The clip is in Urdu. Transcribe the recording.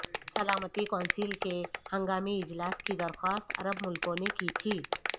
سلامتی کونسل کے ہنگامی اجلاس کی درخواست عرب ملکوں نے کی تھی